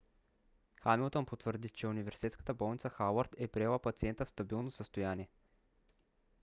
хамилтън потвърди че университетската болница хауърд е приела пациента в стабилно състояние